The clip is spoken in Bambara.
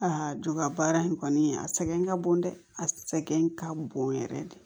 joya baara in kɔni a sɛgɛn ka bon dɛ a sɛgɛn ka bon yɛrɛ de